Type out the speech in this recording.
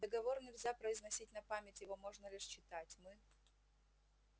договор нельзя произносить на память его можно лишь читать мы